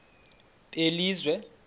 belizwe